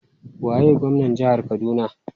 Waye gwamnar jihar Kaduna?